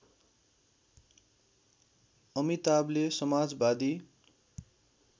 अमिताभले समाजवादी